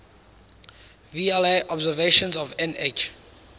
vla observations of nh